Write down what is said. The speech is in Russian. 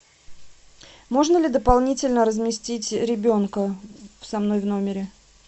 можно ли дополнительно разместить ребенка со мной в номере